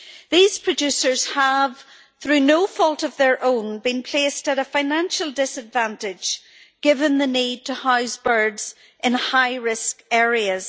These producers have, through no fault of their own, been placed at a financial disadvantage given the need to house birds in high risk areas.